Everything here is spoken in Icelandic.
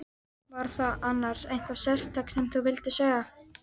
Var það annars eitthvað sérstakt sem þú vildir segja?